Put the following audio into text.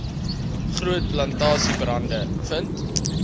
groot plantasiebrande vind